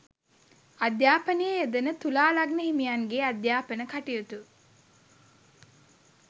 අධ්‍යාපනයේ යෙදෙන තුලා ලග්න හිමියන්ගේ අධ්‍යාපන කටයුතු